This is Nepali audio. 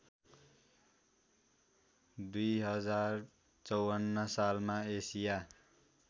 २०५४ सालमा एसिया